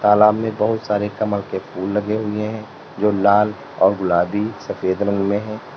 तलाब में बहुत सारे कमल के फूल लगे हुए हैं जो लाल और गुलाबी सफेद रंग में हैं।